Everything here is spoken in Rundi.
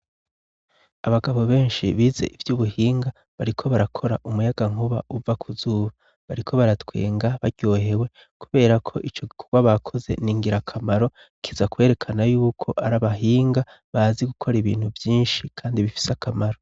Abagabo benshi bize ivy'ubuhinga bariko barakora umuyagankuba uva kuzuba; bariko baratwenga baryohewe kubera ko ico gikorwa bakoze ni ngirakamaro kiza kwerekana y'uko ari abahinga bazi gukora ibintu vyinshi, kandi bifise akamaro.